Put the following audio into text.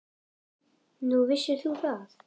Nú, vissir þú það?